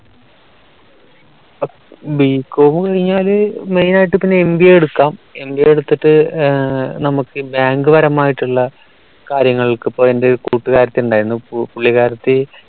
bcom കഴിഞ്ഞാൽ main ആയിട്ട് പിന്നെ MBA എടുക്കാം MBA എടുത്തിട്ട് ഏർ നമുക്ക് bank പരമായിട്ടുള്ള കാര്യങ്ങൾക്ക് ഇപ്പോ എൻറെ ഒരു കൂട്ടുകാരത്തി ഉണ്ടായിരുന്നു പുള്ളിക്കാരത്തി